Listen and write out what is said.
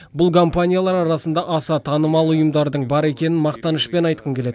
бұл компаниялар арасында аса танымал ұйымдардың бар екенін мақтанышпен айтқым келеді